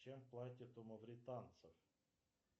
чем платят у мавританцев